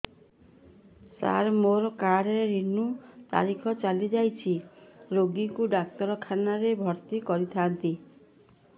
ସାର ମୋର card renew ତାରିଖ ଚାଲି ଯାଇଛି ରୋଗୀକୁ ଡାକ୍ତରଖାନା ରେ ଭର୍ତି କରିଥାନ୍ତି